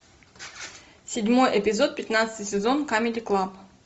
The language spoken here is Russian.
седьмой эпизод пятнадцатый сезон камеди клаб